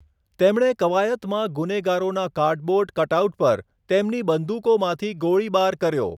તેમણે કવાયતમાં ગુનેગારોનાં કાર્ડબોર્ડ કટઆઉટ પર તેમની બંદૂકોમાંથી ગોળીબાર કર્યો.